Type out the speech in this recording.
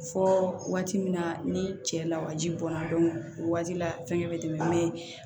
Fɔ waati min na ni cɛ lawaji bɔnna o waati la fɛngɛ bɛ tɛmɛ ne